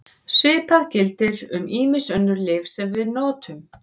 Svipað gildir um ýmis önnur lyf sem við notum.